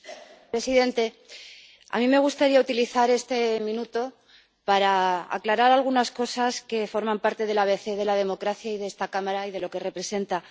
Señor presidente, a mí me gustaría utilizar este minuto para aclarar algunas cosas que forman parte del abecé de la democracia y de esta Cámara y de lo que representa.